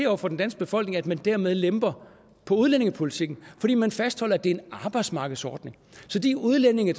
over for den danske befolkning at man dermed lemper på udlændingepolitikken fordi man fastholder at det er en arbejdsmarkedsordning så de udlændinge